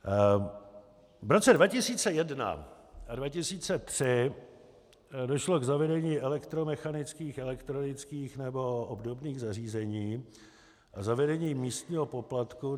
V roce 2001 a 2003 došlo k zavedení elektromechanických, elektronických nebo obdobných zařízení a zavedení místního poplatku.